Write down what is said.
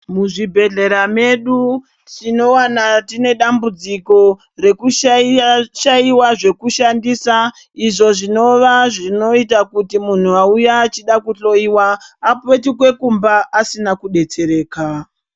Muzvibhedhlera mwedu tinowana tine dambudziko rekushaiwa zvekushandisa zvinova zvinoita kuti munhu wauya achida kuhloyiwa apetuke kumba asina kubetsereka.